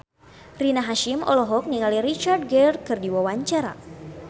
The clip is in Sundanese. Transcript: Rina Hasyim olohok ningali Richard Gere keur diwawancara